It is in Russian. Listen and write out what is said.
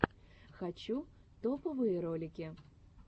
хочу топовые ролики